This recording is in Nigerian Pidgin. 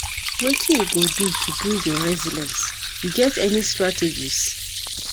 wetin you go do to build your resilience, you get any strategies?